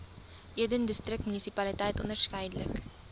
eden distriksmunisipaliteit onderskeidelik